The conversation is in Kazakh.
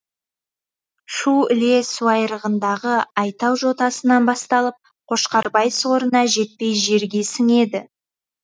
шу іле суайрығындағы айтау жотасынан басталып қошқарбай сорына жетпей жерге сіңеді